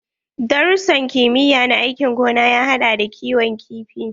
Darussan kimiyya na aikin gona ya haɗa da kiwon kifi.